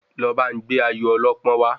Lọ ba n gbé Ayọ̀ ọlọ́pọ́n wa